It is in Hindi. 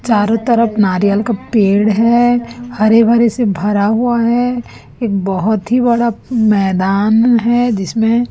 चारों तरफ नारियल का पेड़ है हरे भरे से भरा हुआ है एक बहोत ही बड़ा मैदान है जिसमें--